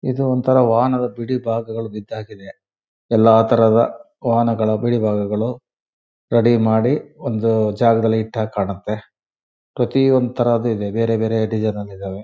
ಇದು ಒಂತರ ವಾಹನದ ಬಿಡಿ ಭಾಗಗಳು ಬಿದ್ಗಿದೆ ಎಲ್ಲ ತರಹದ ವಾಹನದ ಬಿಡಿ ಭಾಗಗಳು ರೆಡಿ ಮಾಡಿ ಒಂದು ಜಗದಲ್ಲಿ ಇಟ್ಟ ಹಾಗೆ ಕಾಣತ್ತೆ ಪ್ರತಿಯೊಂದು ಇದ್ದಾವೆ ಬೇರೆಬೇರೆ ಡಿಸೈನ್ ನಲ್ಲಿ ಇದ್ದಾವೆ.